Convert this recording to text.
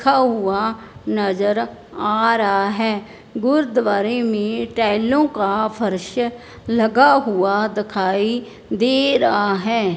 रखा हुआ नजर आ रहा है गुरुद्वारे में टाइलों का फर्श लगा हुआ दखाई दे रहा है।